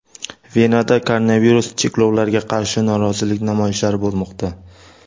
Venada koronavirus cheklovlariga qarshi norozilik namoyishlari bo‘lmoqda.